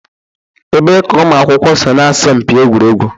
Ebee ka ụmụ akwụkwọ so na asọmpi egwuregwu?